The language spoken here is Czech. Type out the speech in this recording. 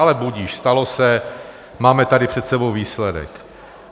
Ale budiž, stalo se, máme tady před sebou výsledek.